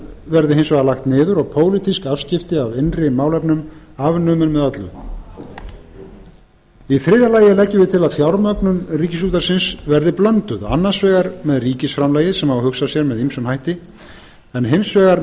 verði hins vegar lagt niður og pólitísk afskipti af innri málefnum afnumin með öllu í þriðja lagi leggjum við til að fjármögnun ríkisútvarpsins verði blönduð annars vegar með ríkisframlagi sem má hugsa sér með ýmsum hætti en hins vegar